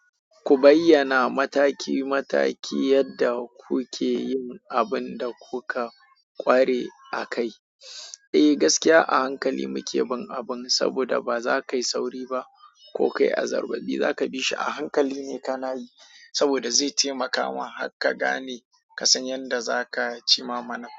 Ku bayyana mataki mataki yadda kuke yin abin da kuka ƙware a kai. Eh gaskiya a hankali muke bin abin, saboda ba za ka yi sauri ba. Ko kai azzarbari za ka bi shi a hankali ne ka na yi, saboda zai taimakawa haka gane ka san yanda za ka cima mana.